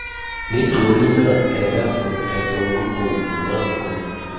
nítorí náà ẹ dákun ẹ sọ orúkọ ẹ sọ orúkọ òògùn náà fún mi